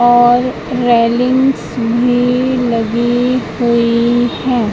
और रेलिंग्स भी लगी हुई है।